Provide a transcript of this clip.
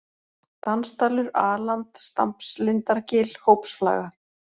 Dansdalur, A-land, Stampslindargil, Hópsflaga